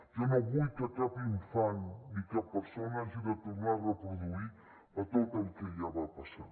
jo no vull que cap infant ni cap persona hagi de tornar a reproduir tot el que ja va passar